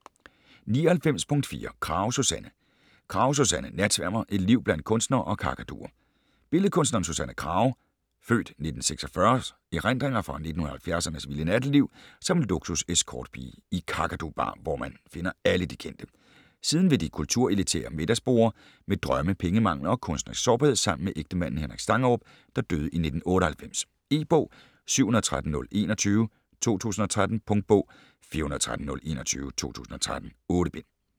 99.4 Krage, Susanne Krage, Susanne: Natsværmer: et liv blandt kunstnere og kakaduer Billedkunstneren Susanne Krages (f. 1946) erindringer fra 1970'ernes vilde natteliv som luksus-escortpige i Kakadu Bar, hvor man finder alle de kendte. Siden ved de kulturelitære middagsborde, med drømme, pengemangel og kunstnerisk sårbarhed sammen med ægtemanden Henrik Stangerup, der døde i 1998. E-bog 713021 2013. Punktbog 413021 2013. 8 bind.